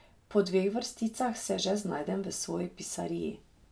Po dveh vrsticah se že znajdem v svoji pisariji.